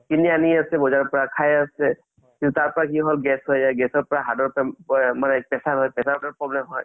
কিনি আনি আছে বজাৰৰ পা খাই আছে কিন্তু তাৰ পাই কি হ'ল gas হয় gas ৰ পৰা heart ৰ পৰা pressure ৰ problem হয়